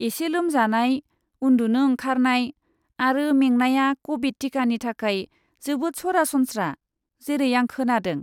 एसे लोमजानाय, उन्दुनो ओंखारनाय आरो मेंनाया क'भिड टिकानि थाखाय जोबोद सरासनस्रा, जेरै आं खोनादों।